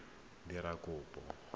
pele o ka dira kopo